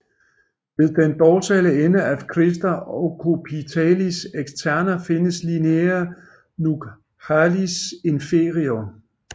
Ved den dorsale ende af crista occipitalis externa findes linea nuchalis inferior